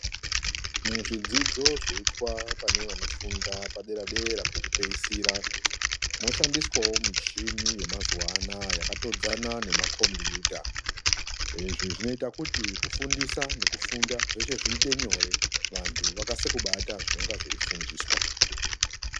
Muzvidzidzo zvoitwa pane vanofunda padera-dera pekupeisira moshandiswawo michini yemazuwa anaya yakatodzana nemakombiyuta, izvi zvinoita kuti kufundiswa nekufunda kuve nyore vantu vakase kubata zvinenge zveifundiswa.